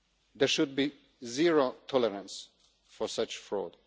There should be zero tolerance for such fraud.